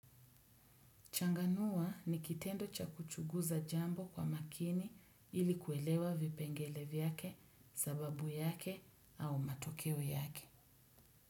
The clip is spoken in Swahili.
Changanua ni kitendo cha kuchuguza jambo kwa makini ili kuelewa vipengele vyake, sababu yake au matokeo yake.